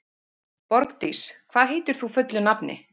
Borgdís, hvað heitir þú fullu nafni?